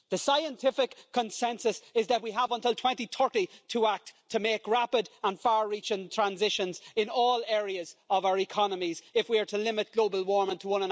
The scientific consensus is that we have until 2030 to act to make rapid and far-reaching transitions in all areas of our economies if we are to limit global warming to